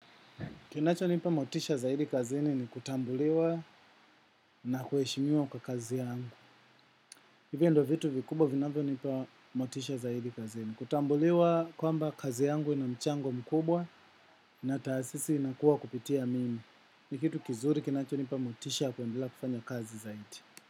Kinacho nipa motisha zaidi kazini ni kutambuliwa na kuheshimiwa kwa kazi yangu. Hivyo ndio vitu vikubwa vinavyo nipa motisha zaidi kazini. Kutambuliwa kwamba kazi yangu ina mchango mkubwa na taasisi inakuwa kupitia mimi, ni kitu kizuri kinacho nipa motisha ya kuendelea kufanya kazi zaidi.